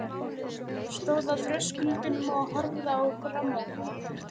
Stóð á þröskuldinum og horfði á grammófóninn.